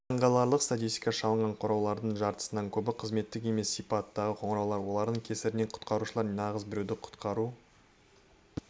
таңқаларлық статистика шалынған қоңыраулардың жартысынан көбі қызметтік емес сипаттағы қоңыраулар олардың кесірінен құтқарушылар нағыз біреуді құтқару